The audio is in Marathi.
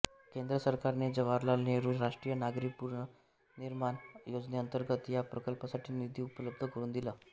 केंद्र सरकारने जवाहरलाल नेहरू राष्ट्रीय नागरी पुनर्निर्माण योजनेअंतर्गत ह्या प्रकल्पासाठी निधी उपलब्ध करून दिला